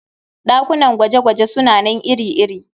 Ɗakunan gwaje-gwaje suna nan iri-iri.